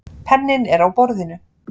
Penninn er á borðinu.